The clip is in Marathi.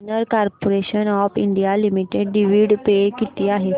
container corporation of India limited dividend पे किती आहे